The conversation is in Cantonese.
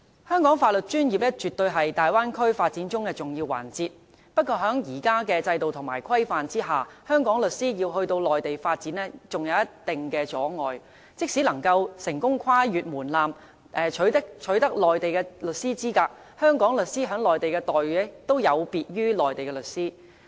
香港的法律專業服務，絕對是大灣區發展中的重要環節。不過，在現有的制度和規限下，香港律師要到內地發展，仍有一定阻礙，即使能夠成功跨過門檻，取得內地律師資格，香港律師在內地的待遇亦有別於內地律師。